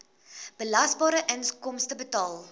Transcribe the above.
belasbare inkomste bepaal